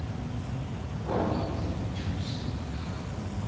ho ya ho thuseng ha